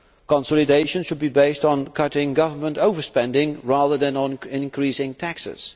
Consolidation should be based on cutting government over spending rather than on increasing taxes.